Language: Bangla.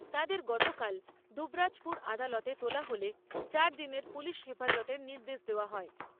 তাদের গতকাল দুবরাজপুর আদালতে তোলা হলে চারদিনের পুলিশ হেফাজতের নির্দেশ দেওয়া হয়।